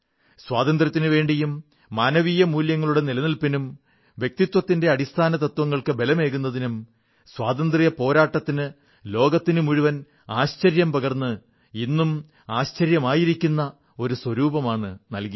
സ്വാതന്ത്ര്യത്തിനുവേണ്ടിയും മാനവീയ മൂല്യങ്ങളുടെ നിലനിൽപ്പിനും വ്യക്തിത്വത്തിന്റെ അടിസ്ഥാനതത്വങ്ങൾക്ക് ബലമേകുന്നതിനും സ്വാതന്ത്ര്യപ്പോരാട്ടത്തിന് ലോകത്തിനുമുഴുവൻ ആശ്ചര്യം പകർന്ന് ഇന്നും ആശ്ചര്യമായിരിക്കുന്ന ഒരു സ്വരൂപമാണ് നൽകിയത്